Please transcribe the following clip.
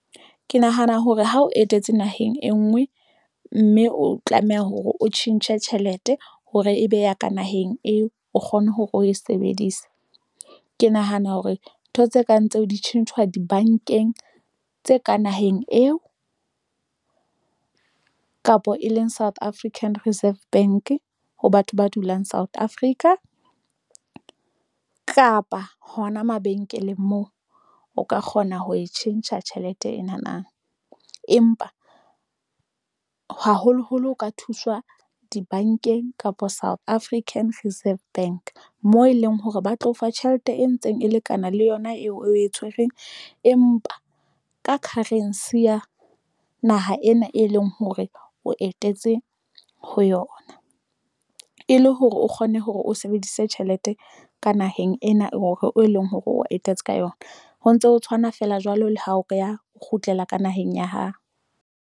Ke nahana hore ha o etetse naheng e ngwe mme o tlameha hore o tjhentjhe tjhelete hore e beha ka naheng eo o kgone hore o e sebedise. Ke nahana hore ntho tse kang tseo di tjhentjhwa dibankeng tse ka naheng eo kapa e leng South African Reserve Bank. Ho batho ba dulang South Africa kapa hona mabenkeleng moo o ka kgona ho e tjhentjha tjhelete ena na, empa o haholoholo ho ka thuswa dibankeng kapa South African Reserve Bank moo e leng hore ba tlo o fa tjhelete e ntseng e lekana le yona eo o e tshwereng empa ka currency ya naha ena, ha e leng hore o etetse ho yona, e le hore o kgone hore o sebedise tjhelete ka naheng ena hore e leng hore o etetse ka yona. Ho ntso tshwana feela jwalo le ha o ko o kgutlela ka naheng ya ho.